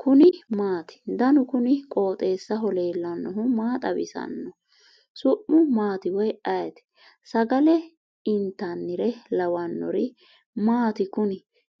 kuni maati ? danu kuni qooxeessaho leellannohu maa xawisanno su'mu maati woy ayeti ? sagale intannire lawannori maati kuni